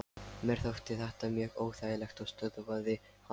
Mér þótti þetta mjög óþægilegt og stöðvaði hann.